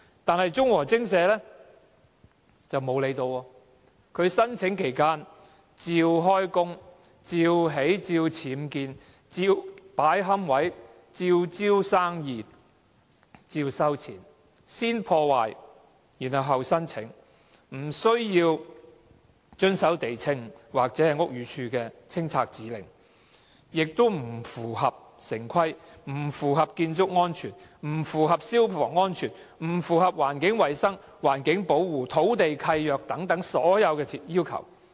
但是，忠和精舍並無理會，在申請期間照常運作，如常僭建、擺放龕位、招攬生意、收取費用，先破壞，後申請，不遵守地政總署或屋宇署的清拆指令，不符合城市規劃、建築安全、消防安全、環境衞生、環境保護、土地契約等所有要求。